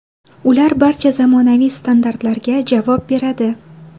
Ular barcha zamonaviy standartlarga javob beradi.